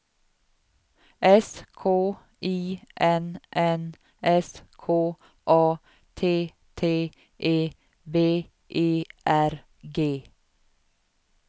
S K I N N S K A T T E B E R G